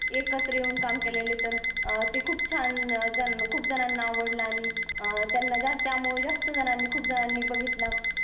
एकत्र येऊन काम केलेली तर ती खूप छान खूप जनांन आवडलं आणि त्यांना जास्त त्या मुळे जास्त जननी खूप जननी बगीतला.